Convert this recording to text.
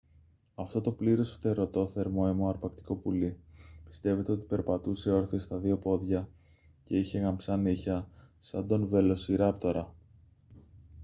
αυτό το πλήρως φτερωτό θερμόαιμο αρπακτικό πουλί πιστεύεται ότι περπατούσε όρθιο στα δύο πόδια και είχε γαμψά νύχια σαν τον βελοσιράπτορα